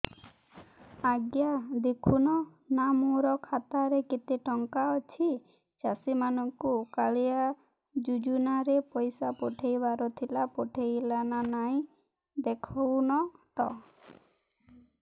ଆଜ୍ଞା ଦେଖୁନ ନା ମୋର ଖାତାରେ କେତେ ଟଙ୍କା ଅଛି ଚାଷୀ ମାନଙ୍କୁ କାଳିଆ ଯୁଜୁନା ରେ ପଇସା ପଠେଇବାର ଥିଲା ପଠେଇଲା ନା ନାଇଁ ଦେଖୁନ ତ